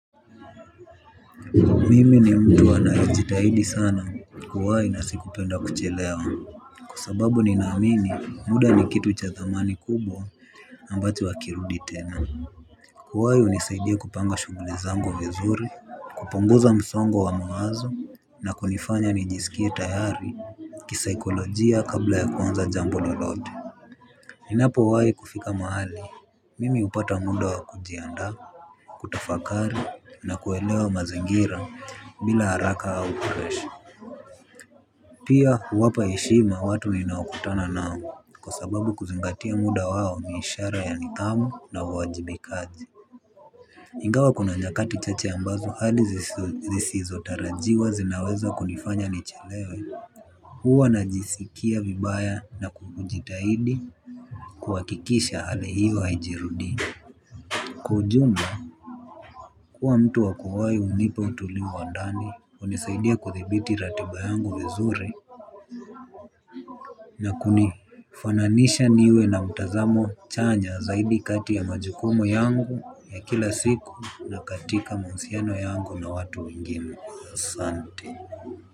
Mimi ni mtu anaejitahidi sana kuwahi na sikupenda kuchelewa. Kwasababu ninaamini muda ni kitu cha thamani kubwa ambacho hakirudi tena. Kuwahi hunisaidia kupanga shughuli zangu vizuri. Kupunguza msongo wa mawazo na kunifanya nijisikie tayari kisaikolojia kabla ya kuanza jambo lolote. Ninapo wai kufika mahali mimi hupata muda wa kujiandaa. Kutafakari na kuelewa mazingira bila haraka au presha pia huwapa heshima watu ninao kutana nao. Kwa sababu kuzingatia muda wao ni ishara ya nidhamu na uwaji bikaji ingawa kuna nyakati chache ambazo hadi zisizotarajiwa zinaweza kunifanya nichelewe. Huwa najisikia vibaya na kujitahidi kuhakikisha ni hiyo haijirudii. Kwa ujumla kuwa mtu wakuwahi hunipa utulivu wa ndani hunisaidia kudhibiti ratiba yangu vizuri na kuni fananisha niwe na mtazamo chanya zaidi kati ya majukumu yangu ya kila siku na katika mahusiano yangu na watu wengine.